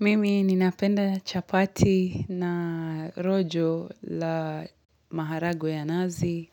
Mimi ninapenda chapati na rojo la maharagwe ya nazi.